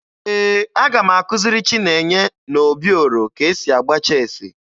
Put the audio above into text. Ee, aga m akụziri Chinenye na Obioro ka e si agba cheesi